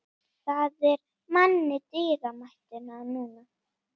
Það er manni dýrmætt núna.